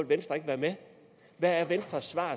venstre ikke være med hvad er venstres svar